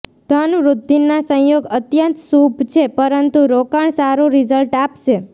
ધન વૃદ્ધિના સંયોગ અત્યંત શુભ છે પરંતુ રોકાણ સારું રિઝલ્ટ આપશે